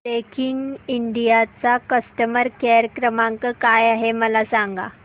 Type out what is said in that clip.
Daikin India चा customer care क्रमांक काय आहे मला सांगा